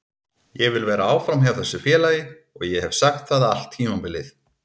Ég vil vera áfram hjá þessu félagi og ég hef sagt það allt tímabilið.